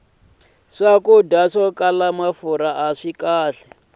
swakudya swo tala mafurha aswi kahle